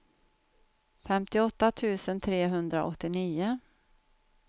femtioåtta tusen trehundraåttionio